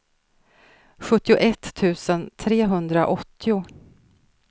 sjuttioett tusen trehundraåttio